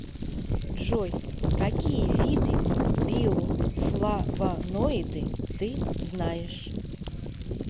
джой какие виды биофлавоноиды ты знаешь